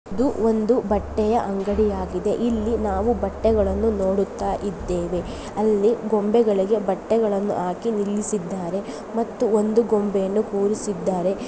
ಇದು ಒಂದು ಬಟ್ಟೆಯ ಅಂಗಡಿಯಾಗಿದೆ ಇಲ್ಲಿ ನಾವು ಬಟ್ಟೆಗಳನ್ನು ನೋಡುತ್ತಾಯಿದ್ದೇವೆ ಅಲ್ಲಿ ಗೊಂಬೆಗಳಿಗೆ ಬಟ್ಟೆಗಳನ್ನು ಹಾಕಿ ನಿಲ್ಲಿಸಿದ್ದಾರೆ ಮತ್ತು ಒಂದು ಗೊಂಬೆಯನ್ನು ಕೂರಿಸಿದ್ದಾರೆ.